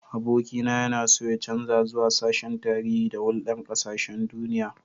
Abokina yana so ya canza zuwa sashen Tarihi da Hulɗar Ƙasashen Duniya.